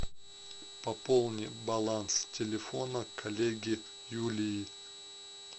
пополни баланс телефона коллеги юлии